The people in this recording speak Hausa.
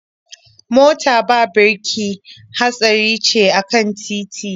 Mota ba birki hatsari ce a kan titi.